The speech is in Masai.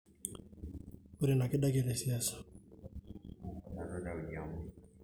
Ore ina keidakie tesiasa.